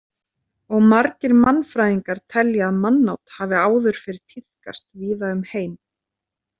Og margir mannfræðingar telja að mannát hafi áður fyrr tíðkast víða um heim.